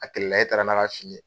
A kɛlɛla e taara n'a ka fini ye.